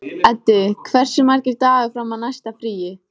Eddi, hversu margir dagar fram að næsta fríi?